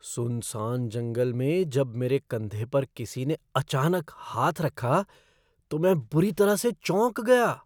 सुनसान जंगल में जब मेरे कंधे पर किसी ने अचानक हाथ रखा तो मैं बुरी तरह से चौंक गया।